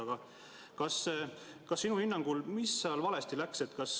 Aga mis sinu hinnangul seal valesti läks?